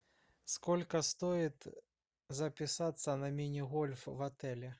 сколько стоит записаться на мини гольф в отеле